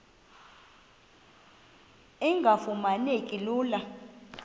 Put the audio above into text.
engafuma neki lula